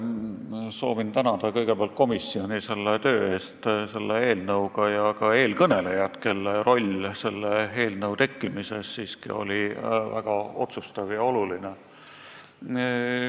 Soovin kõigepealt tänada komisjoni töö eest selle eelnõu kallal ja ka eelkõnelejat, kelle roll selle eelnõu tekkimises oli siiski väga otsustav ja oluline.